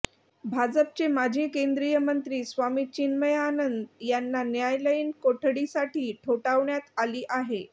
भाजपचे माजी केंद्रीय मंत्री स्वामी चिन्मयानंद यांना न्यायालयीन कोठडीसाठी ठोठावण्यात आली आहे